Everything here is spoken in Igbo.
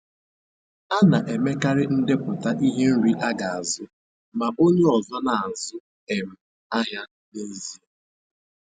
A na-emekarị ndepụta ihe nri aga azu, ma onye ọzọ na-azụ um ahịa n'ezie.